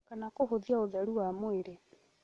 kana kũhũthia ũtheru wa mwĩrĩ